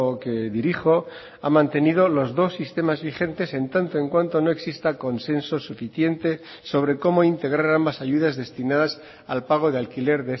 que dirijo ha mantenido los dos sistemas vigentes en tanto en cuanto no exista consenso suficiente sobre cómo integrar ambas ayudas destinadas al pago de alquiler